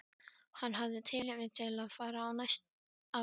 Hann hafði tilefni til að fara á knæpu.